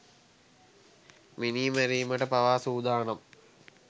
මිනී මැරිමට පවා සූදානම්.